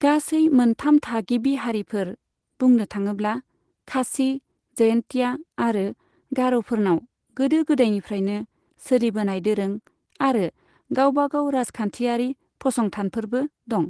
गासै मोनथाम थागिबि हारिफोर, बुंनो थाङोब्ला खासि, जयन्तिया आरो गार'फोरनाव गोदो गोदायनिफ्रायनो सोलिबोनाय दोरों आरो गावबागाव राजखान्थियारि फसंथानफोरबो दं।